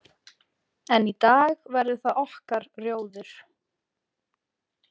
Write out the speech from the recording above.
En í dag verður það okkar rjóður.